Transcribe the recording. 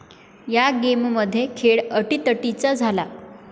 या गेममध्ये खेळ अटीतटीचा झाला.